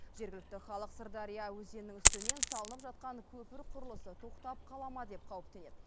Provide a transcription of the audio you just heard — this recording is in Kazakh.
жергілікті халық сырдария өзенінің үстінен салынып жатқан көпір құрылысы тоқтап қала ма деп қауіптенеді